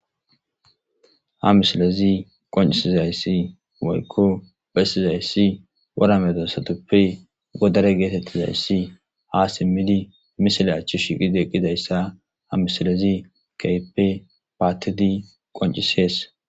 Ha misilezi qoncisizayssi moykko bessizayssi woramedosatoppe godare geetettizayssi ha simmidi misile achchu shiqideqqidayssa ha misilezi kaype paattidi qoncisees